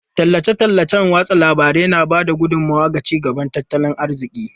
Tallace-tallacen watsa labarai na ba da gudummawa ga ci gaban tattalin arziki.